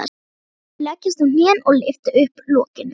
Þau leggjast á hnén og lyfta upp lokinu.